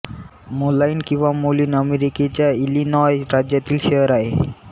मोलाइन किंवा मोलीन अमेरिकेच्या इलिनॉय राज्यातील शहर आहे